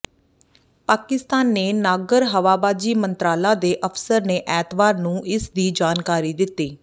ਪਾਕਿਸਤਾਨ ਨੇ ਨਾਗਰ ਹਵਾਬਾਜ਼ੀ ਮੰਤਰਾਲਾ ਦੇ ਅਫਸਰ ਨੇ ਐਤਵਾਰ ਨੂੰ ਇਸ ਦੀ ਜਾਣਕਾਰੀ ਦਿੱਤੀ